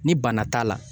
Ni bana t'a la